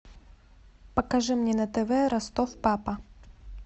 покажи мне на тв ростов папа